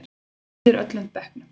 Og hann býður öllum bekknum.